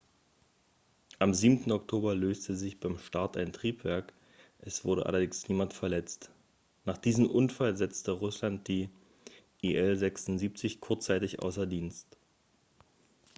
am 7. oktober löste sich beim start ein triebwerk es wurde allerdings niemand verletzt nach diesem unfall setzte russland die il-76 kurzzeitig außer dienst